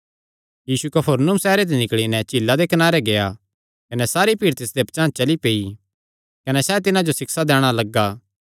यीशु कफरनहूम सैहरे ते निकल़ी नैं झीला दे कनारे गेआ कने सारी भीड़ तिसदे पचांह़ चली पेई कने सैह़ तिन्हां जो सिक्षा दैणा लग्गा